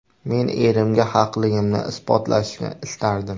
Men erimga haqligimni isbotlashni istardim.